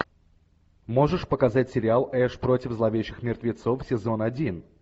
можешь показать сериал эш против зловещих мертвецов сезон один